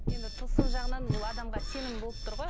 енді тылсым жағынан бұл адамға сенім болып тұр ғой